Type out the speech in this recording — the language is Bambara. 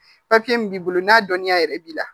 min b'i bolo n'a dɔnniya yɛrɛ b'i la